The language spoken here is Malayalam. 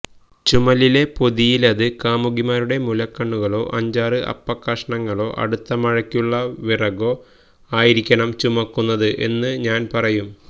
ചുമലിലെ പൊതിയിലത് കാമുകിമാരുടെ മുലക്കണ്ണുകളോ അഞ്ചാറ് അപ്പക്കഷണങ്ങളോ അടുത്ത മഴയ്ക്കുള്ള വിറകോ ആയിരിക്കണം ചുമക്കുന്നത് എന്നു ഞാൻ പറയും